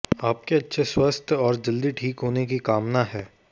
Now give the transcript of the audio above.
आपके अच्छे स्वास्थ्य और जल्दी ठीक होने की कामना है